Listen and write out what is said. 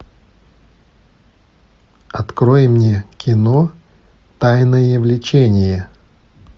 открой мне кино тайное влечение